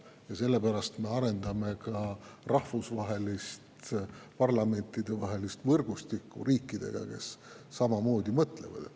Ja sellepärast me arendame ka rahvusvahelist parlamentidevahelist võrgustikku riikidega, kes samamoodi mõtlevad.